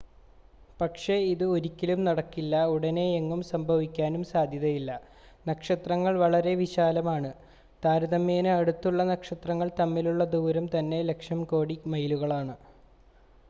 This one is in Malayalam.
പക്ഷേ ഇത് ഒരിക്കലും നടക്കില്ല ഉടനെയെങ്ങും സംഭവിക്കാനും സാധ്യതയില്ല നക്ഷത്രങ്ങൾ വളരെ വിശാലമാണ് താരതമ്യേന അടുത്തുള്ള നക്ഷത്രങ്ങൾ തമ്മിലുള്ള ദൂരം തന്നെ ലക്ഷം കോടി മൈലുകലാണ്